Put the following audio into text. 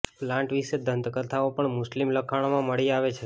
plant વિશે દંતકથાઓ પણ મુસ્લિમ લખાણોમાં મળી આવે છે